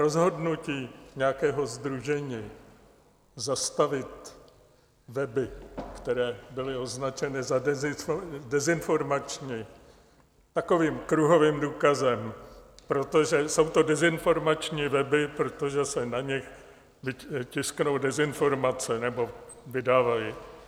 Rozhodnutí nějakého sdružení zastavit weby, které byly označeny za dezinformační, takovým kruhovým důkazem, protože jsou to dezinformační weby, protože se na nich tisknou dezinformace nebo vydávají.